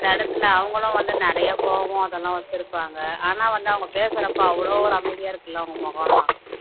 அந்த இடத்துல அவங்களும் வந்து நிறைய கோவம் அதெல்லாம் வச்சிருப்பாங்க ஆனா வந்து அவங்க பேசுறப்ப அவ்ளோ ஒரு அமைதியா இருக்குல்ல அவங்க முகம் எல்லாம்